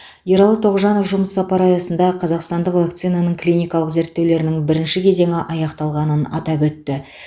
ералы тоғжанов жұмыс сапары аясында қазақстандық вакцинаның клиникалық зерттеулерінің бірінші кезеңі аяқталғанын атап өтті